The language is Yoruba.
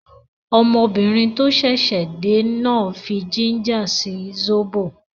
Ọmọbìnrin tó ṣẹ̀ṣẹ̀ dé náà fí jínjà sí sóbò